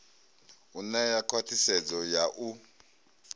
u ṋea khwathisedzo ya u